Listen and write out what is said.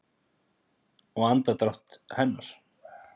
Og andardrátt hennar.